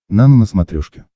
нано на смотрешке